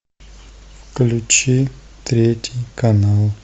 включи третий канал